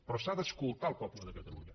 però s’ha d’escoltar el poble de catalunya